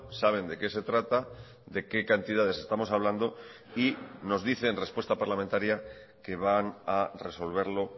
saben de qué se trata de qué cantidades estamos hablando y nos dice en respuesta parlamentaria que van a resolverlo